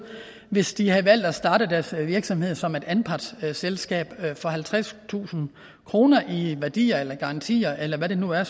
hvis de havde valgt at starte deres virksomhed som et anpartsselskab for halvtredstusind kroner i værdier eller garantier eller hvad det nu er